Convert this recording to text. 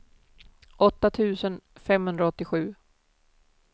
åtta tusen femhundraåttiosju